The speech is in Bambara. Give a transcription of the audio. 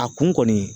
A kun kɔni